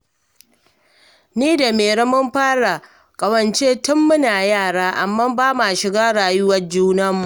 Ni da Mairo mun fara ƙawance tun muna yara, amma ba ma shiga rayuwar junanmu